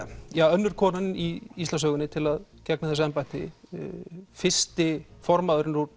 önnur konan í Íslandssögunni til að gegna þessu embætti fyrsti formaðurinn úr